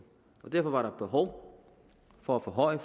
derfor var der behov for at forhøje